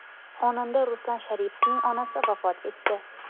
Xonanda Ruslan Sharipovning onasi vafot etdi.